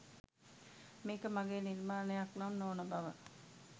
මේක මගේ නිර්මානයක් නම් නොවන බව